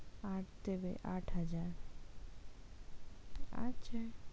আট দেবে আট হাজার আচ্ছা।